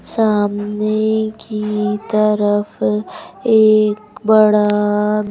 सामने की तरफ एक बड़ा--